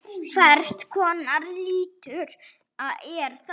Hvers konar litur er þetta?